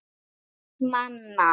Einn manna!